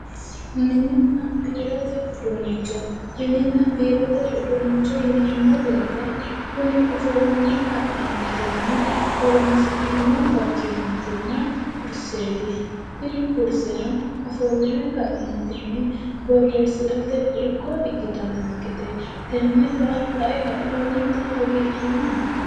Minina biirote uduunnicho minina biirote uduunnicho yineemo wote kuni ofolline ka'neentini horonsi'neemmo barchimaatina kurseeti tini kurseno ofolline ka'neentinni borreessirate irko ikkitaankete tennera lae kae lowonta hagiidhooma.